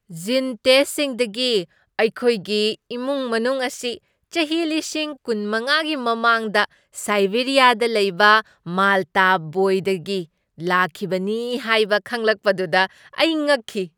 ꯖꯤꯟ ꯇꯦꯁꯠꯁꯤꯡꯗꯒꯤ ꯑꯩꯈꯣꯏꯒꯤ ꯏꯃꯨꯡ ꯃꯅꯨꯡ ꯑꯁꯤ ꯆꯍꯤ ꯂꯤꯁꯤꯡ ꯀꯨꯟꯃꯉꯥꯒꯤ ꯃꯃꯥꯡꯗ ꯁꯥꯏꯕꯦꯔꯤꯌꯥꯗ ꯂꯩꯕ ꯃꯥꯜꯇꯥ ꯕꯣꯏꯗꯒꯤ ꯂꯥꯛꯈꯤꯕꯅꯤ ꯍꯥꯏꯕ ꯈꯪꯂꯛꯄꯗꯨꯗ ꯑꯩ ꯉꯛꯈꯤ꯫